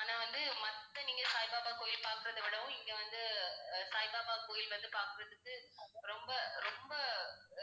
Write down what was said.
ஆனா வந்து மத்த நீங்கச் சாய்பாபா கோயில் பார்க்கிறதை விடவும் இங்க வந்து அஹ் சாய்பாபா கோயில் வந்து பார்க்கிறதுக்கு ரொம்ப, ரொம்ப